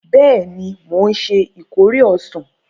Bẹẹni, mo nṣe ìkórè ọsan